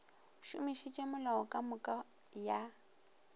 šomišitše melao ka moka ya